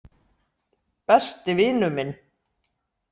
Besti vinur minn.